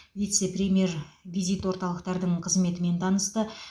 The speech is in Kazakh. вице премьер визит орталықтардың қызметімен танысты